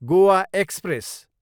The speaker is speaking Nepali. गोआ एक्सप्रेस